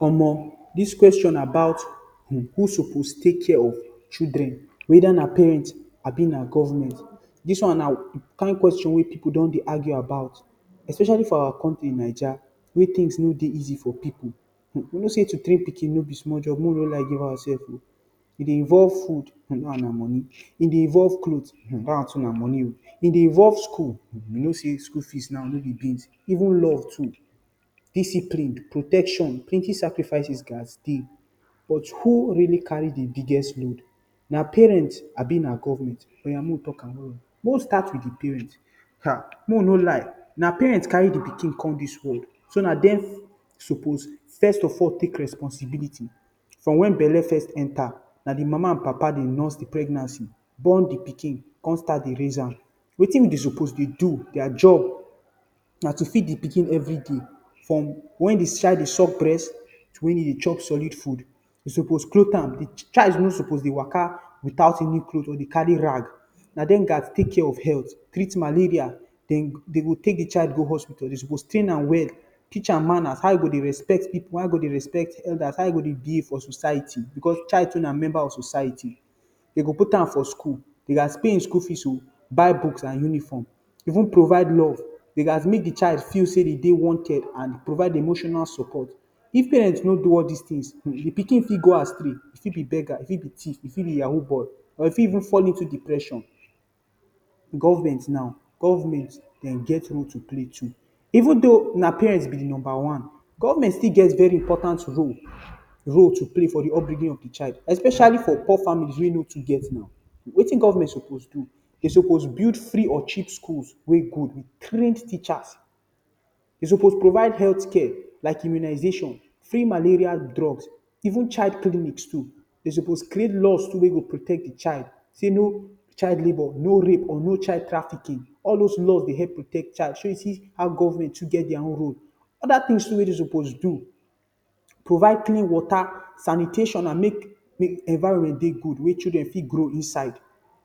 Omo, dis question about um who suppose take care of children weda na parent abi na government. Dis won na kind question wey people don dey argue about, especially for our country Naija wey tins no easy fo pipu um, you no say to train pikin no bi small job may we no lie give ourselves o, e dey involve food, dat won na moni, e dey involve cloth, dat won too na moni o, e dey involve school, you no say skul fees now no bi beans, even love too, discipline, protection, plenti sacrifice gats dey, but who reali kari di biggest load? Na parent, abi na government. Oya mo we tok am, mo we stat with di parents, ha mowe no lie, na parents kari di pikin com dis word so na dem suppose first of all tak responsibility, for wen belle first enta, na di mama an papa dey nus di pregnancy, bon di pikin, con stat dey raize am, wetin be suppose dey do, dia job, na to feed di pikin every day, from wen di child dey chop breast, wen he dey chop solid food, you suppose clot am, child no suppose dey waka without even cloth or dey kari rag. Na dem guys take care of health, treat malaria, dey go tak di child go hospital, dem for tren nam well, teach dem manas, how he go dey respect pipu, how he go dey respect elders how he go dey behave for society because child too na member of society, dey go put am for skul, dey are paying his school fees o buy books an uniform even provide love it has mek di child feel sey e dey wanted an provide emotional support if parent no do all dis tins, di pikin fit go astray, e fit be bega, e fit bi tiff, e fi bi yahoo boi or e fi even fall into depression government now, government dem get role to play too even though na parents be number one, government sti get very important role role to play for di up bringin of di child especially for poor family wey no too get no wetin government suppose do? Dey suppose build free or cheap schools wey good dey train teachers dey suppose provide health care, like immunization, free malaria drugs even child clinic too, dey suppose create laws too wey go protect di child say no child labor, no rape or no child traffiking all dos laws dey hep protect child shey you see how goverment get dia own role, oda tins may dey suppose do provide clean wata, sanitation an mek di environment dey good wey chudren fit grow inside,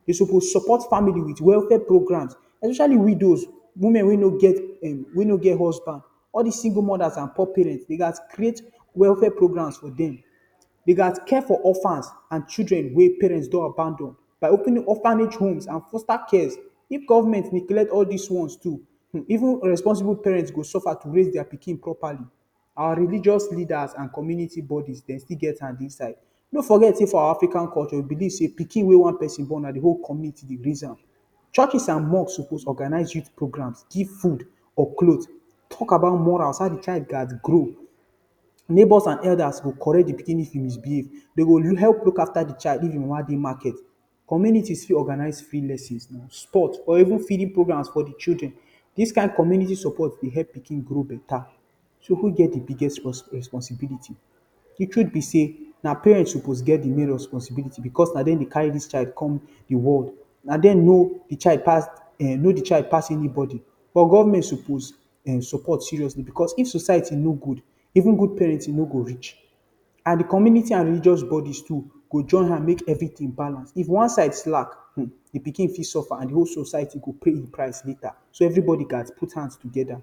dey suppose support famili with welfare programs especilally widows women wey no get um way no get husband all dis single modas and poor parent dey gats create welfare programs for dem, dey can care for ofans and chudren wey parent don abandon by openin ophange homes and foster cares, if goverment neglet dis wons too even responsibu parent go sufa if today to raize dia pikin properly and religus leadas and comuniti bodi dem still get han inside. No forget say for our Afrikan culture we belive say pikin wey one pesin bon na di hol community dey raize am, churches an mosque suppose organise youth program give food or cloth, tok about morals how di child can grow neighbor and elders go koret di pikin if him misbehave dey go hep look afta di child if im mama dey market community organize free lessons or even feeding program for di chudren dis kind community support dey hep pikin grow beta, so who get di biggest responsibility di truth be say na parent suppose get di main responsibility bacause na dem dey kari dis child com di world na dem no di child pas um, no di child pas any bodi but government suppose um support seriously because if society no good even good parents no go reach an di community and di religious bodi too go join han mek every tin balance, if won side slack um di pikin fit sofa an di hol society go pay di price leta, so every bodi gats put hands together.